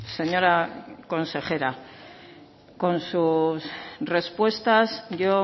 señora consejera con sus respuestas yo